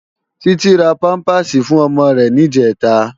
Titi rá pàmpásí fún òmò rè nijètá